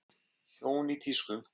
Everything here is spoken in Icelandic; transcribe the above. Hjón í tísku